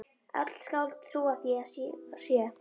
Öll skáld trúa því að svo sé.